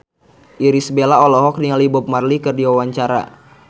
Irish Bella olohok ningali Bob Marley keur diwawancara